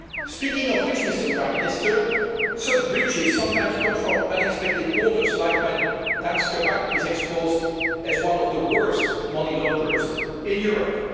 Speaking of which, Mr Prime Minister, such breaches sometimes come from unexpected quarters, like when Danske Bank is exposed as one of the worst money launderers in Europe.